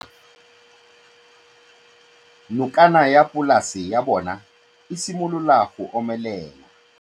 Nokana ya polase ya bona, e simolola go omelela.